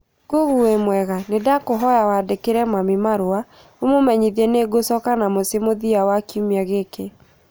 Google wĩmũega, nindakũhoya wandĩkĩre mami marũa ũmumenyithie nĩngũcoka na mũciĩ mũthia wa kiumia gĩkĩ